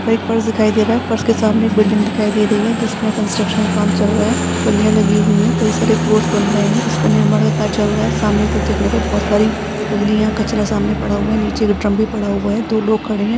एक फर्श दिखाई दे रहा है फर्श के सामने एक बिल्डिंग दिखाई दे रही है जिसमे कांस्ट्रक्शं का काम चल रहा है। बल्लिया लगी हुई हैं कई सारे फ्लोर्स बन रहें हैं। इसपे निर्माण का कार्य चल रहा है। सामने पर देखने पर बहोत सारी बल्लिया कचरा सामने पड़ा हुआ है। नीचे एक ड्रम भी पड़ा हुआ है दो लोग खड़े हैं।